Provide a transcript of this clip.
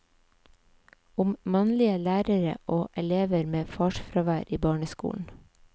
Om mannlige lærere og elever med farsfravær i barneskolen.